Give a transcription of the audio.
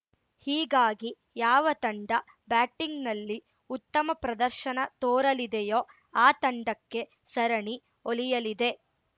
ಹೀಗಾಗಿ ಯಾವ ತಂಡ ಬ್ಯಾಟಿಂಗ್‌ನಲ್ಲಿ ಉತ್ತಮ ಪ್ರದರ್ಶನ ತೋರಲಿದೆಯೋ ಆ ತಂಡಕ್ಕೆ ಸರಣಿ ಒಲಿಯಲಿದೆ